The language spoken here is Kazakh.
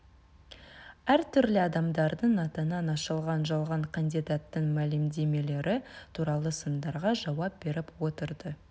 әртүрлі адамдардың атынан ашылған жалған кандидаттың мәлімдемелері туралы сындарға жауап беріп отырды